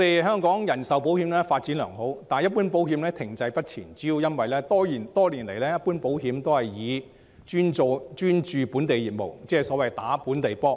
香港的人壽保險發展良好，但一般保險發展卻停滯不前，主要因為多年來一般保險只專注本地業務，即所謂打"本地波"。